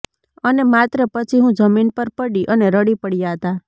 અને માત્ર પછી હું જમીન પર પડી અને રડી પડ્યા હતા